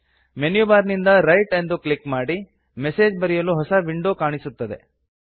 menu bar ನಿಂದ write ಅನ್ನು click ಮಾಡಿ ಮೆಸೇಜ್ ಬರೆಯಲು ಹೊಸ ವಿಂಡೋ ಕಾಣಿಸುತ್ತದೆ